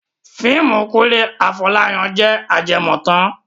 Fíìmù Kúnlé Afọ́láyan jẹ ajẹmọ́tàn